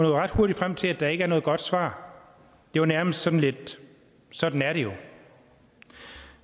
ret hurtigt frem til at der ikke er noget godt svar det var nærmest sådan lidt sådan er det jo